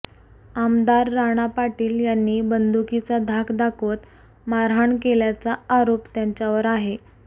आमदार राणा पाटील यांनी बंदुकीचा धाक दाखवत मारहाण केल्याचा आरोप त्यांच्यावर आहे